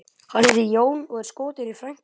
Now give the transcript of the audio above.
Hann heitir Jón og er skotinn í frænku minni, sagði